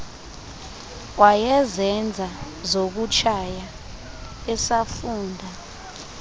wayezenza zokutshaya esafunda